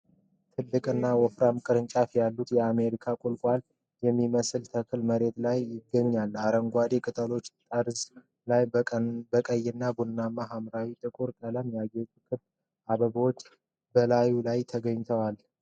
ትልቅና ወፍራም ቅርንጫፎች ያሉት የአሜሪካ ቁልቋል የሚመስል ተክል በመሬት ላይ ይገኛል። አረንጓዴ ቅጠሎቹ ጠርዝ ላይ በቀይ ቡናማና በሐምራዊ ጥቁር ቀለም ያጌጡ ክብ አበባዎች በላዩ ላይ ይገኛሉ።